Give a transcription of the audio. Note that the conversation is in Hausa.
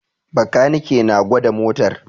Bakanike na gwada motar